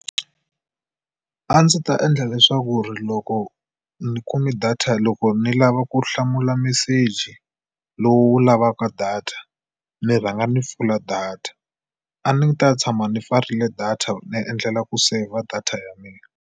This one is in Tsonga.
A ndzi ta endla leswaku ri loko ni kume data loko ni lava ku hlamula meseji lowu wu lavaka data ni rhanga ni pfula data. A ni ta tshama ni pfarile data ni endlela ku saver data ya mina.